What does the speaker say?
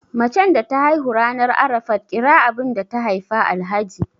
macen da ta haihu ranar Arafat kira abinda ta Haifa Alhaji